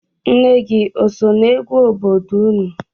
Nne gị o so n'egwu obodo unu?